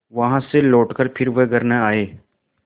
वहाँ से लौटकर फिर वे घर न आये